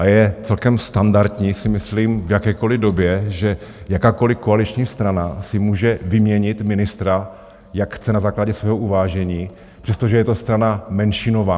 A je celkem standardní, myslím si, v jakékoliv době, že jakákoliv koaliční strana si může vyměnit ministra, jak chce, na základě svého uvážení, přestože je to strana menšinová.